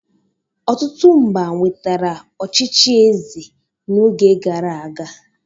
Ọtụtụ mba nwetara ọchịchị eze n'oge gara aga.